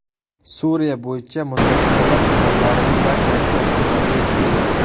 Suriya bo‘yicha muzokaralar tomonlarining barchasi Ostonaga yetib keldi.